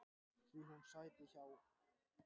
Því sæti hún hjá.